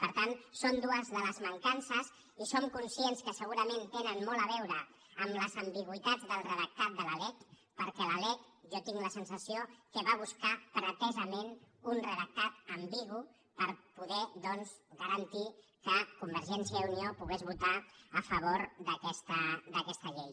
per tant en són dues de les mancances i som conscients que segurament tenen molt a veure amb les ambigüitats del redactat de la lec perquè la lec jo tinc la sensació que va a buscar pretesament un redactat ambigu per poder doncs garantir que convergència i unió pogués votar a favor d’aquesta llei